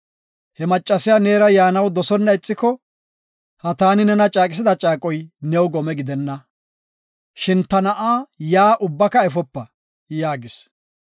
He maccasiya neera yaanaw dosona ixiko, ha taani nena caaqisida caaqoy new gome gidenna; shin ta na7a yaa ubbaka efopa” yaagis.